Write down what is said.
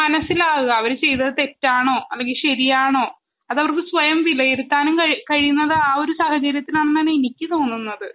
മനസ്സിലാവുക അവർ ചെയ്തത് തെറ്റാണോ അല്ലെങ്കിൽ ശരിയാണോ അത് അവർക്ക് സ്വയം വിലയിരുത്താൻ കഴിയുന്നത് ആ ഒരു സാഹചര്യത്തിലാണെന്ന് ആണ്‌ എനിക്ക് തോന്നുന്നത്